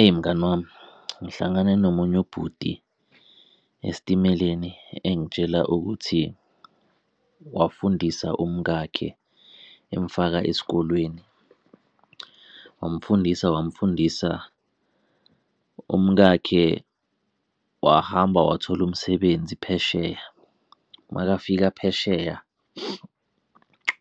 Eyi, mngani wami ngihlangane nomunye ubhuti esitimeleni engitshela ukuthi wafundisa umkakhe emfaka esikolweni wamfundisa wamfundisa, umkakhe wahamba wathola umsebenzi phesheya. Makafika phesheya,